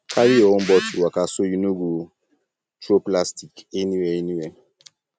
carry your own bottle waka so you no go um throw plastic anywhere anywhere